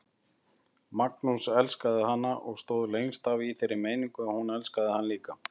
Magnús elskaði hana og stóð lengst af í þeirri meiningu að hún elskaði hann líka.